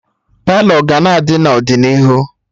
Palọ ga-na adị n'ọdịnihu